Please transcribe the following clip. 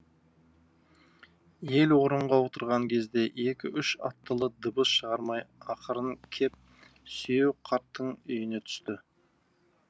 ел орынға отырған кезде екі үш аттылы дыбыс шығармай ақырын кеп сүйеу қарттың үйіне түсті